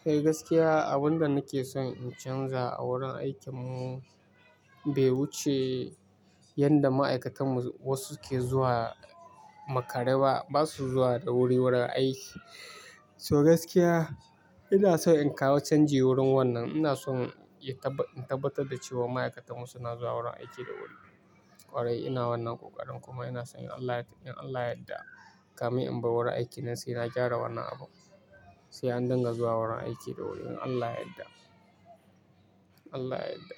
Kai gaskiya abunda nake son in canza a wurin aikin mu be wuce yanda ma'aikatan mu wasu ke zuwa makare ba, ba su zuwa da wuri wurin aiki. So gaskiya ina son in kawo canji wurin wannan. Ina son in tabbatar da cewa ma'aikatan mu suna zuwa wurin aiki da wuri. Kwarai ina wannan kokarin kuma ina son in Allah yadda, kami in bar wurin aiki na sai na gyara wannan abu. Sai an dinga zuwa wurin aiki da wuri in Allah yadda. Allah yadda.